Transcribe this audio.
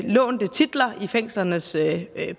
udlånte titler i fængslernes